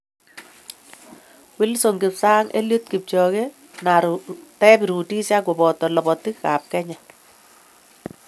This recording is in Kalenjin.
Wilson kipsang, Eliud Kipchoge na David Rudisha ko boto lobotii ab Kenya.